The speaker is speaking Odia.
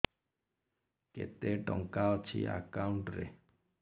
କେତେ ଟଙ୍କା ଅଛି ଏକାଉଣ୍ଟ୍ ରେ